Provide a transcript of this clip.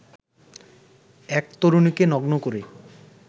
এক তরুণীকে নগ্ন করে